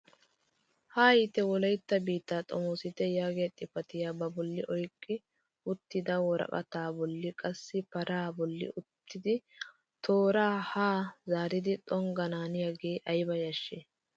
"Haayite wolaytta biittaa xomoosite!" yaagiyaa xifatiyaa ba bolli oyqqi uttida woraqataa bolli qassi paraa bolli uttidi tooraa haa zaari xonggananiyaage ayba yashshii!